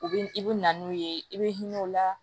U bɛ i bɛ na n'u ye i bɛ hinɛ u la